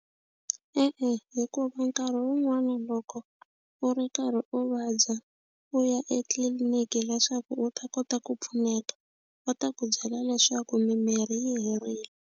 E-e, hikuva nkarhi wun'wani loko u ri karhi u vabya u ya etliliniki leswaku u ta kota ku pfuneka va ta ku byela leswaku mimirhi yi herile.